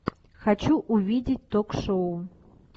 хочу увидеть ток шоу